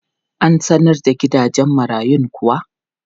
An sanar da gidan marayun kuwa?